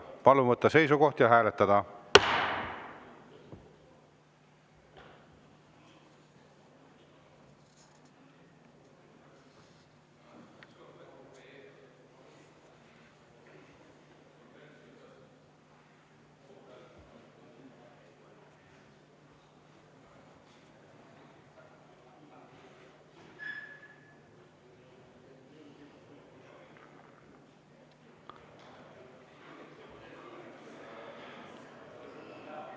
Palun võtta seisukoht ja hääletada!